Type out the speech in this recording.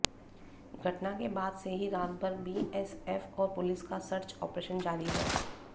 घटना के बाद से ही रात भर बीएसएफ और पुलिस का सर्च ऑपरेशन जारी है